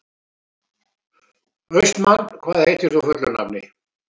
Austmann, hvað heitir þú fullu nafni?